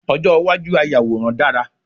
Ojo iwaju ayàwòrán dara